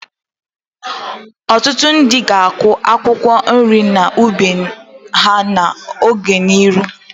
Ọtụtụ ndị ga-akụ akwụkwọ nri n'ubi ha n'ọdịnihu